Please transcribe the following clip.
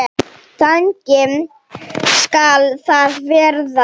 Þannig skal það verða.